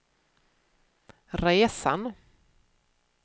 resan